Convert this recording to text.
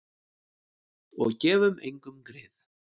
Og gefum engum grið.